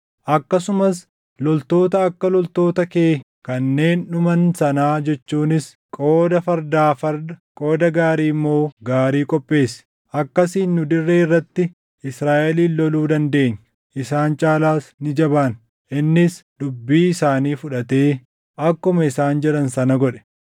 Akkasumas loltoota akka loltoota kee kanneen dhuman sanaa jechuunis qooda fardaa farda, qooda gaarii immoo gaarii qopheessi. Akkasiin nu dirree irratti Israaʼelin loluu dandeenya; isaan caalaas ni jabaanna.” Innis dubbii isaanii fudhatee akkuma isaan jedhan sana godhe.